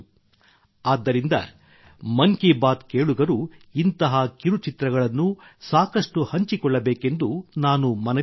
ಆದ್ದರಿಂದ ಮನ್ ಕಿ ಬಾತ್ ಕೇಳುಗರು ಇಂತಹ ಕಿರುಚಿತ್ರಗಳನ್ನು ಸಾಕಷ್ಟು ಹಂಚಿಕೊಳ್ಳಬೇಕೆಂದು ನಾನು ಮನವಿ ಮಾಡುತ್ತೇನೆ